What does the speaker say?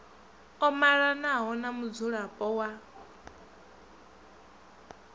o malanaho na mudzulapo wa